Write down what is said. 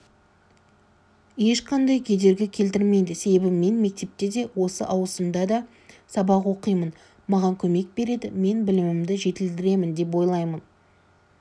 ешқандай кедергі келтірмейді себебі мен мектепте де осы ауысымда да сабақ оқимын маған көмек береді мен білімімді жетілдіремін деп ойлаймын